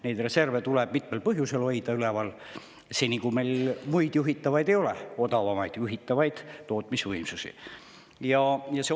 Neid tuleb mitmel põhjusel üleval hoida seni, kui meil muid juhitavaid võimsusi ei ole, odavamaid juhitavaid tootmisvõimsusi meil ei ole.